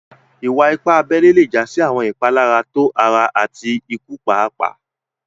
Ìwà-ìpà àbèlè lè já sí àwọn ìpàlàrá tó ara àti ìkù pààpàà.